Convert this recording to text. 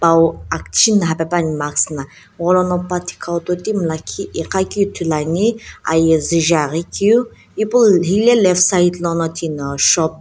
awo akchi nhapae pani mask na gholono pathi kha totimi lakhi ighakeu ithulu ane aye zu jaeaghi keu ipu left side lono shop --